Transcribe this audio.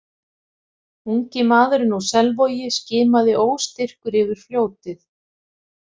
Ungi maðurinn úr Selvogi skimaði óstyrkur yfir fljótið.